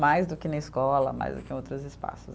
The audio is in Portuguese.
Mais do que na escola, mais do que em outros espaços.